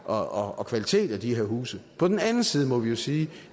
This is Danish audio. og kvalitet af de her huse på den anden side må vi jo sige